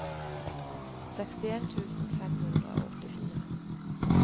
sekstien tusen fem hundre og åttifire